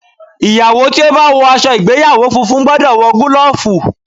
Ìyàwó tí ó bá wọ aṣọ ìgbéyàwó funfun gbọ́dọ̀ wọ gúlọ̀fù.